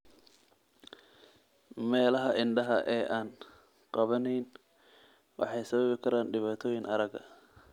Meelaha indhaha ee aan gaabnayn waxay sababi karaan dhibaatooyin aragga.